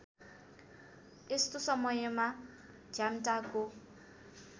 यस्तो समयमा झ्याम्टाको